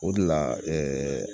O de la ɛɛ